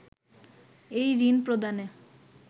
এই ঋণ প্রদানে